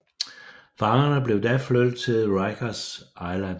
Fangerne blev da flyttet til Rikers Island